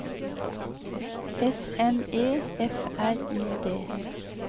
S N E F R I D